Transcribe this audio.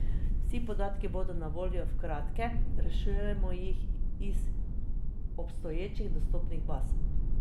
Vsi podatki bodo na voljo v kratkem, rešujemo jih iz obstoječih dostopnih baz.